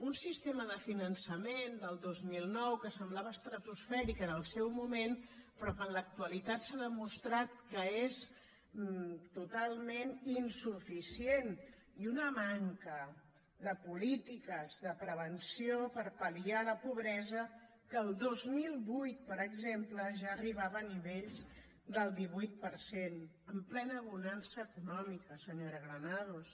un sistema de finançament del dos mil nou que semblava estratosfèric en el seu moment però que en l’actualitat s’ha demostrat que és totalment insuficient i una manca de polítiques de prevenció per pal·liar la pobresa que el dos mil vuit per exemple ja arribava a nivells del divuit per cent en plena bonança econòmica senyora granados